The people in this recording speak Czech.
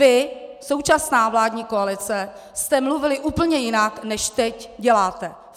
Vy, současná vládní koalice, jste mluvili úplně jinak, než teď děláte.